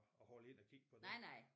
At holde ind og kigge på det